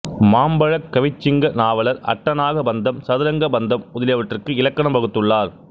மாம்பழக் கவிச்சிங்க நாவலர் அட்டநாக பந்தம் சதுரங்க பந்தம் முதலியவற்றிற்கு இலக்கணம் வகுத்துள்ளார்